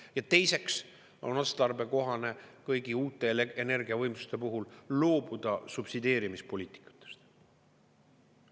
Ja teiseks on otstarbekohane kõigi uute energiavõimsuste puhul loobuda subsideerimise poliitikast.